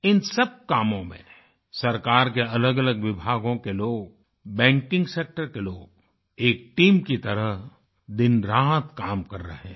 इन सब कामों में सरकार के अलगअलग विभागों के लोग बैंकिंग सेक्टर के लोग एक टीम की तरह दिनरात काम कर रहे हैं